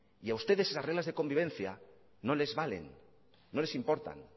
y a ustedes esas reglas de convivencia no les valen no les importan